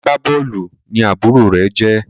Agbabóòlù ní àbúrò rẹ jé